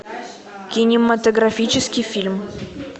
кинематографический фильм